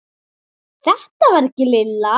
Þetta var ekki Lilla.